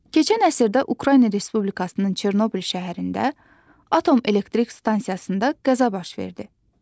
Keçən əsrdə Ukrayna Respublikasının Çernobıl şəhərində atom elektrik stansiyasında qəza baş verdi.